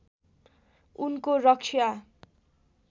उनको रक्षा